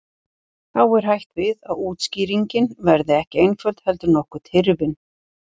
Þá er hætt við að útskýringin verði ekki einföld heldur nokkuð tyrfin.